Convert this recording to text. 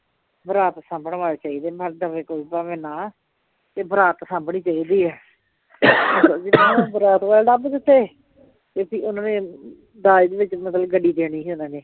ਬਰਾਤ ਸਾਂਭਣ ਵਾਲੇ ਚਾਹੀਦੇ ਨੇ, ਨਾਲੇ ਦਵੇ ਕੋਈ ਭਾਵੇ ਨਾ ਤੇ ਬਰਾਤ ਸਾਂਭਣੀ ਚਾਹੀਦੀ ਏ ਬਰਾਤ ਵਾਲੇ ਲੱਭ ਦਿੱਤੇ ਤੇ ਫਿਰ ਉਹਨਾ ਨੇ ਦਾਜ ਵਿੱਚ ਮਤਲਬ ਗੱਡੀ ਦੇਣੀ ਸੀ ਉਹਨਾਂ ਨੇ